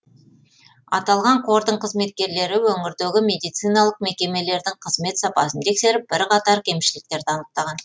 аталған қордың қызметкерлері өңірдегі медициналық мекемелердің қызмет сапасын тексеріп бірқатар кемшіліктерді анықтаған